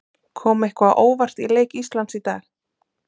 Kom eitthvað á óvart í leik Íslands í dag?